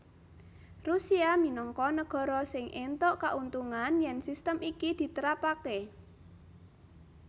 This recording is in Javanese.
Rusia minangka nagara sing éntuk kauntungan yèn sistem iki ditrapakaké